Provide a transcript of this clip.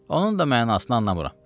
Onun da mənasını anlamıram.